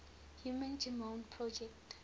human genome project